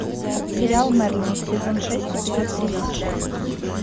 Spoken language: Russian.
сериал мерлин сезон шесть эпизод тридцать шесть